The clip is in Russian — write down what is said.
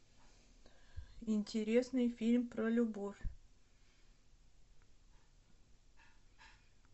интересный фильм про любовь